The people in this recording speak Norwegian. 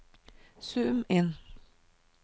zoom inn